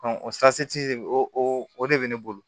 o o de bɛ ne bolo